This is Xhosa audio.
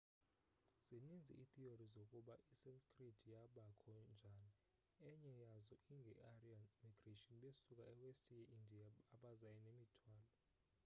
zininzi iitheory zokuba isanskrit yabakho njani. enye yazo inge aryan migration besuka e west ye india abaza nemithwalo